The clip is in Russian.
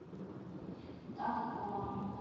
данкова